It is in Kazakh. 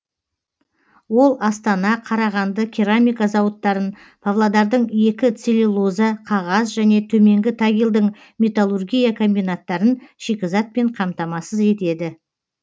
ол астана қарағанды керамика зауыттарын павлодардың екі целюлоза қағаз және төменгі тагилдің металлургия комбинаттарын шикізатпен қамтамасыз етеді